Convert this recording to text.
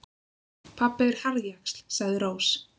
Pabbi er harðjaxl, sagði Rós.